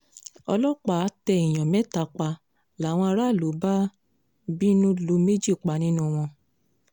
ọlọ́pàá tẹ èèyàn mẹ́ta pa làwọn aráàlú bá bínú lu méjì pa nínú wọn